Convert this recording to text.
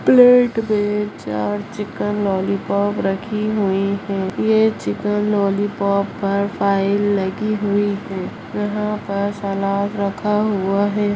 Plate मे चार chicken lollipop रखी हुई है ये चिकन लॉलीपॉप पर फाइल लगी हुई है यहाँ पर सलाद रखा हुआ है।